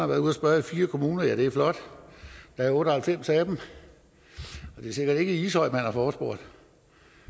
været ude at spørge i fire kommuner ja det er flot der er otte og halvfems af dem og det er sikkert ikke i ishøj man har forespurgt